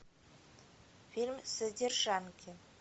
фильм содержанки